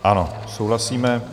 Ano, souhlasíme.